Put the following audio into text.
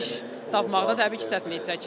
İş tapmaqda təbii ki, çətinlik çəkirik.